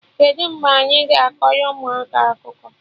Kedụ mgbe anyị ga-akọrọ ụmụaka akụkọ?